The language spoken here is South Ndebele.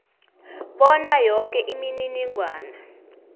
bona yoke imininingwana